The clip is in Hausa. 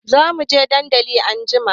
Zamuje dandali anjima